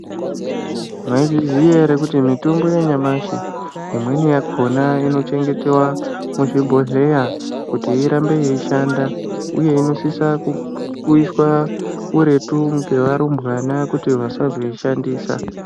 Maizviziya ere kuti mitombo yanyamashi imweni yakona inochengeteva muzvibhodheya kuti irambe yeishanda, uye inosisa kuiswa kuretu ngevarumbwana kuti vasazodzishandisa.